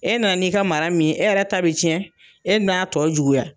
E nana n'i ka mara min ye e yɛrɛ ta bi cɛn e n'a tɔ juguya